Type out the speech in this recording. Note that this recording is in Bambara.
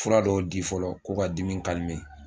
Fura dɔ di fɔlɔ ko ka dimi